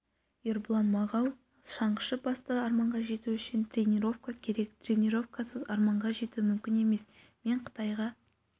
ербұлан мағау шаңғышы басты арманға жету үшін тренировка керек тренировкасыз арманға жету мүмкін емес мен қытайға